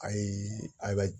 Ayi a